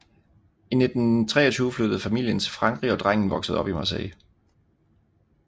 I 1923 flyttede familien til Frankrig og drengen voksede op i Marseille